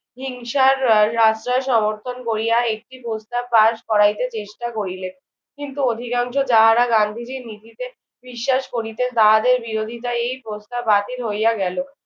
হিংসার আশ্রয় সমর্থন করিয়া একটি প্রস্তাব পাশ করাইতে চেষ্টা করিলেন। কিন্তু অধিকাংশ যাহারা গান্ধীজির নীতিতে বিশ্বাস করিতেন তাহাদের বিরোধিতায় এই প্রস্তাব বাতিল হইয়া গেল।